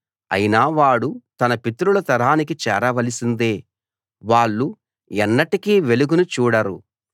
అయినా వాడు తన పితరుల తరానికి చేరవలసిందే వాళ్ళు ఎన్నటికీ వెలుగును చూడరు